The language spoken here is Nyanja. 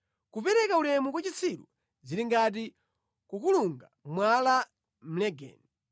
Kupereka ulemu kwa chitsiru zili ngati kukulunga mwala mʼlegeni.